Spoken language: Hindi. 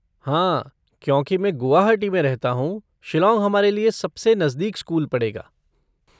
हाँ, क्योंकि मैं गुवाहाटी में रहता हूँ, शिलॉन्ग हमारे लिए सबसे नजदीक स्कूल पड़ेगा।